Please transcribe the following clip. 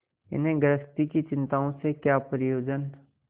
इन्हें गृहस्थी की चिंताओं से क्या प्रयोजन